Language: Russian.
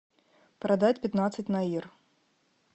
продать пятнадцать наир